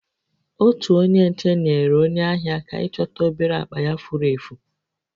Otu onye nche nyeere onye ahịa aka ịchọta obere akpa ya furu efu